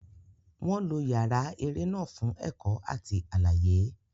Wọn lo yàrá eré náà fún ẹ̀kọ́ àti àlàyé.